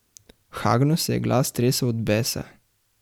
Hagnu se je glas tresel od besa.